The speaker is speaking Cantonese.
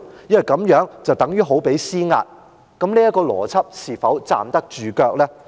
因為這樣等於施壓，這個邏輯是否站得住腳呢？